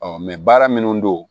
baara minnu don